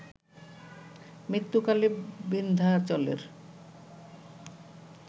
মৃত্যুকালে বিন্ধ্যাচলের